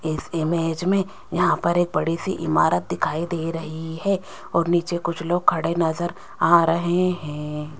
इस इमेज में यहां पर एक बड़ी सी इमारत दिखाई दे रही है और नीचे कुछ लोग खड़े नजर आ रहे हैं।